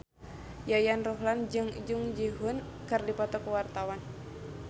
Yayan Ruhlan jeung Jung Ji Hoon keur dipoto ku wartawan